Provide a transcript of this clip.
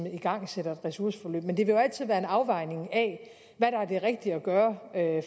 igangsætter et ressourceforløb men det vil jo altid være en afvejning af hvad der er det rigtige at gøre